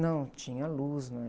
Não tinha luz, não é?